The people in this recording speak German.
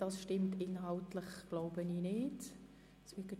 Ich glaube, dass Ihr Votum inhaltlich nicht stimmt.